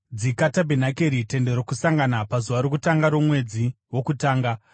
“Dzika tabhenakeri, Tende Rokusangana, pazuva rokutanga romwedzi wokutanga.